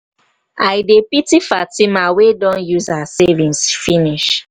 i dey pity fatima wey don use her savings finish.